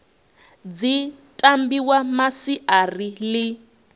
dzi tambiwa nga masiari ḽi